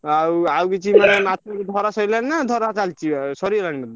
ଆଉ ଆଉ କିଛି ମାନେ ମାଛ ବି ଧରା ସଇଲାଣି ନା ଧରା ଚାଲଚି ବା ସରିଗଲାଣି?